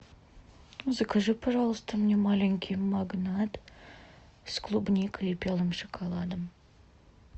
закажи пожалуйста мне маленький магнат с клубникой и белым шоколадом